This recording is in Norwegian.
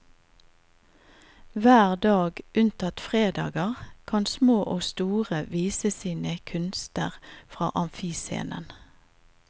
Hver dag, unntatt fredager, kan små og store vise sine kunster fra amfiscenen.